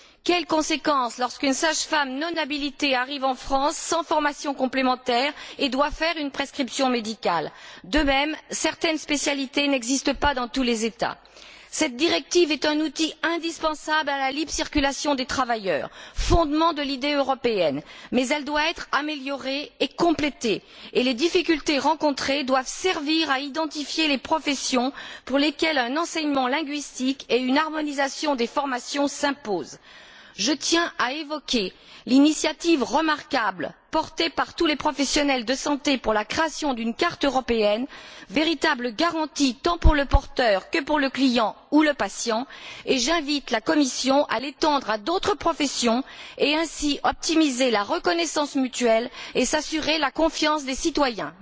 Que se passe t il lorsqu'une sage femme non habilitée arrive en France sans formation complémentaire et doit faire une prescription médicale? De même, certaines spécialités n'existent pas dans tous les États. Cette directive est indispensable à la libre circulation des travailleurs, fondement de l'idée européenne, mais elle doit être améliorée et complétée, et les difficultés rencontrées doivent servir à identifier les professions pour lesquelles un enseignement linguistique et une harmonisation des formations s'imposent. Je tiens à évoquer l'initiative remarquable, soutenue par tous les professionnels de la santé, pour la création d'une carte européenne, véritable garantie tant pour le porteur que pour le client ou le patient, et j'invite la Commission à l'étendre à d'autres professions, ce qui permettra d'optimiser la reconnaissance mutuelle et de gagner la confiance des citoyens.